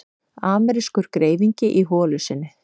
Amerískur greifingi í holu sinni.